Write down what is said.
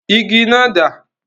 Igi náà dá?